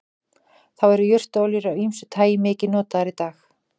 þá eru jurtaolíur af ýmsu tagi mikið notaðar í dag